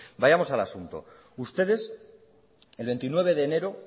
vayamos al asunto ustedes el veintinueve de enero